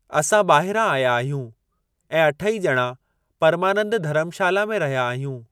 असां ॿाहिरां आया आहियूं ऐं अठई ॼणा परमानंद धरमशाला में रहिया आहियूं।